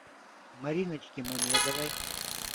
мариночке мамедовой